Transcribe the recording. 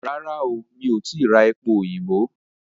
Rárá o, mi ò tìí ra epo òyìnbó?